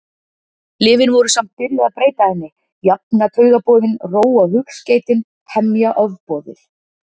Lyfin voru samt byrjuð að breyta henni, jafna taugaboðin, róa hugskeytin, hemja ofboðið.